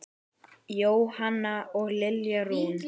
Jóhanna og Lilja Rún.